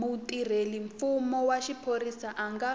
mutirhelamfumo wa xiphorisa a nga